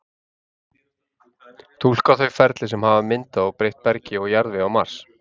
Túlka þau ferli sem hafa myndað og breytt bergi og jarðvegi á Mars.